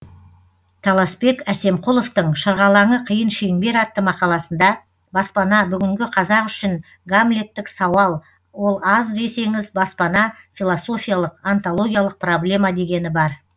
таласбек әсемқұловтың шырғалаңы қиын шеңбер атты мақаласында баспана бүгінгі қазақ үшін гамлеттік сауал ол аз десеңіз баспана философиялық онтологиялық проблема дегені бар